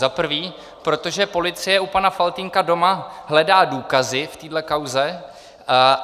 Za prvé, protože policie u pana Faltýnka doma hledá důkazy v téhle kauze.